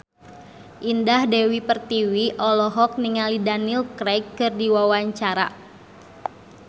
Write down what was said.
Indah Dewi Pertiwi olohok ningali Daniel Craig keur diwawancara